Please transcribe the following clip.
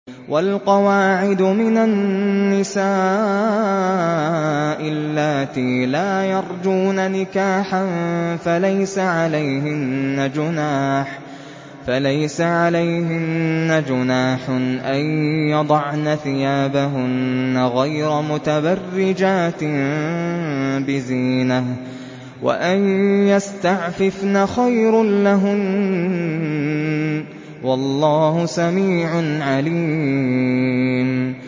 وَالْقَوَاعِدُ مِنَ النِّسَاءِ اللَّاتِي لَا يَرْجُونَ نِكَاحًا فَلَيْسَ عَلَيْهِنَّ جُنَاحٌ أَن يَضَعْنَ ثِيَابَهُنَّ غَيْرَ مُتَبَرِّجَاتٍ بِزِينَةٍ ۖ وَأَن يَسْتَعْفِفْنَ خَيْرٌ لَّهُنَّ ۗ وَاللَّهُ سَمِيعٌ عَلِيمٌ